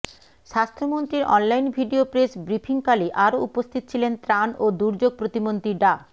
স্বাস্থ্যমন্ত্রীর online video press ব্রিফিংকালে আরো উপস্থিত ছিলেন ত্রাণ ও দুর্যোগ প্রতিমন্ত্রী ডা